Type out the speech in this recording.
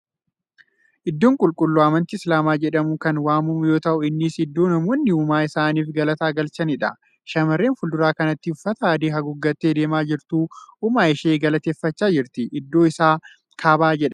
Iddoo qulqulluu amantii Islaamaa jedhamuuun kan waamamu yoo ta'u innis iddoo namoonni uumaa isaanif galata galchaniidha. Shamarran fuuldura kanatti uffata adii haguuggattee deemaa jirtu uumaa ishee galateeffachaa jirti. Iddoon isaa kaabaa jedhama.